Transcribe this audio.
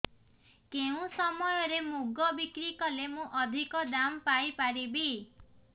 କେଉଁ ସମୟରେ ମୁଗ ବିକ୍ରି କଲେ ମୁଁ ଅଧିକ ଦାମ୍ ପାଇ ପାରିବି